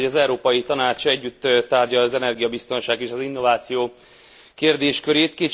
Örülök, hogy az Európai Tanács együtt tárgyalja az energiabiztonság és az innováció kérdéskörét.